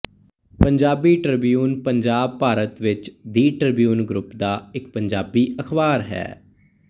Punjabi Tribune Punjab Bharat ਵਿੱਚ the Tribune group ਦਾ ਇੱਕ ਪੰਜਾਬੀ ਅਖ਼ਬਾਰ ਹੈ